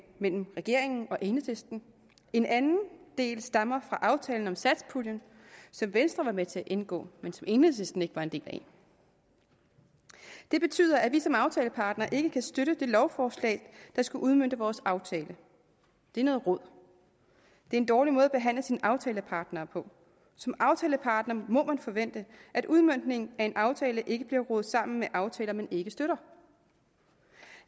mellem regeringen og enhedslisten den anden del stammer fra aftalen om satspuljen som venstre var med til at indgå men som enhedslisten ikke var en del af det betyder at vi som aftalepartner ikke kan støtte det lovforslag der skulle udmønte vores aftale det er noget rod det er en dårlig måde at behandle sine aftalepartnere på som aftalepartner må man forvente at udmøntningen af en aftale ikke bliver rodet sammen med aftaler man ikke støtter